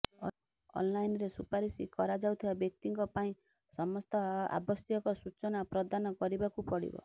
ଅନ୍ଲାଇନରେ ସୁପାରିସ କରାଯାଉଥିବା ବ୍ୟକ୍ତିଙ୍କ ପାଇଁ ସମସ୍ତ ଆବଶ୍ୟକ ସୂଚନା ପ୍ରଦାନ କରିବାକୁ ପଡ଼ିବ